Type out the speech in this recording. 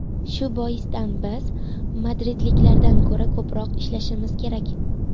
Shu boisdan biz madridliklardan ko‘ra ko‘proq ishlashimiz kerak.